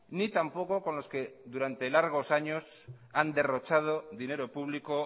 ni tampoco con los que durante largos años han derrochado dinero público